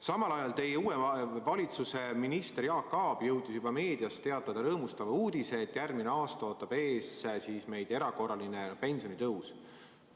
Samal ajal teie uue valitsuse minister Jaak Aab jõudis juba meedias teatada rõõmustava uudise, et järgmisel aastal ootab meid ees erakorraline pensionitõus.